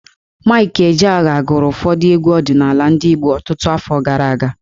Maịk Ejeagha gụrụ ụfọdụ egwu ọdịnaala ndị Igbo ọtụtụ afọ gara aga.